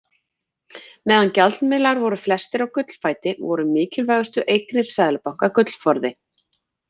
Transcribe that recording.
Meðan gjaldmiðlar voru flestir á gullfæti voru mikilvægustu eignir seðlabanka gullforði.